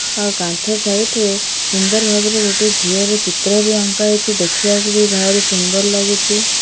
ଆଉ କାନ୍ଥ ସାଇଟ ରେ ସୁନ୍ଦର ଭାବରେ ଗୋଟେ ଝିଅର ଚିତ୍ର ବି ଅଙ୍କା ହେଇଛି ଦେଖିବାକୁ ବି ଭାରି ସୁନ୍ଦର ଲାଗୁଚି।